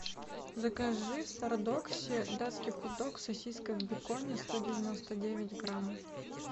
закажи в стардоксе датский хот дог сосиска в беконе сто девяносто девять грамм